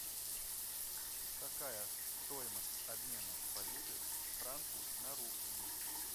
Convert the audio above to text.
какая стоимость обмена валюты франки на рупии